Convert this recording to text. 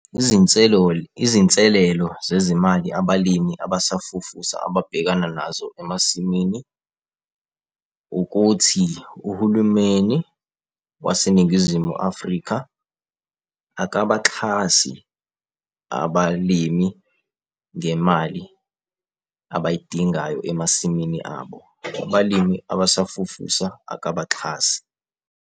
Izinselelo zezimali abalimi abasafufusa ababhekana nazo emasimini, ukuthi uhulumeni waseNingizimu Afrika akabaxhasi abalimi ngemali abayidingayo emasimini abo. Abalimi abasafufusa akabaxhasi.